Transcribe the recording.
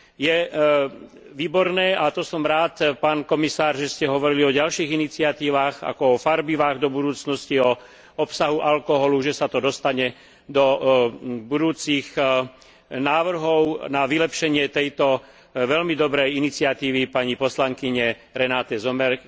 Je výborné, a to som rád, pán komisár, že ste hovorili o ďalších iniciatívach, ako o farbivách, do budúcnosti, o obsahu alkoholu, že sa to dostane do budúcich návrhov na vylepšenie tejto veľmi dobrej iniciatívy pani poslankyne Renate Sommer.